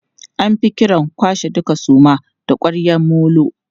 An fi kiran kwashe duka suman da ƙwaryan molo.